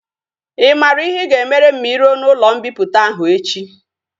I mara ihe i ga emere m ma i ruo na ulo mpiputa ahu echi?